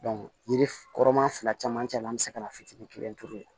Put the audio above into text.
yiri kɔrɔ maa fila cɛmancɛ la an bɛ se ka na fitiinin kelen turu